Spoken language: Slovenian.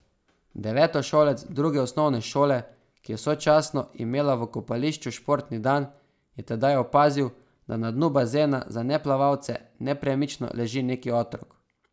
Devetošolec druge osnovne šole, ki je sočasno imela v kopališču športni dan, je tedaj opazil, da na dnu bazena za neplavalce nepremično leži neki otrok.